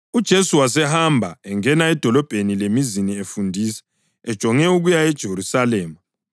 UJesu wasehamba engena emadolobheni lemizini efundisa, ejonge ukuya eJerusalema.